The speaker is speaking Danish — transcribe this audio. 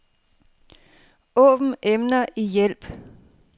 Åbn emner i hjælp.